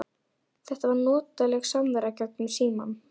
Þetta var notaleg samvera gegnum símann.